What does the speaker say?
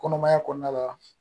Kɔnɔmaya kɔnɔna la